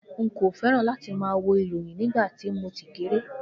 Nko fẹràn lati ma wo ìròyìn nígbàtí mo tí kéré.